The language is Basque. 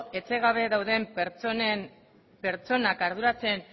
etxe gabe dauden pertsonak arduratzen